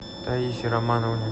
таисе романовне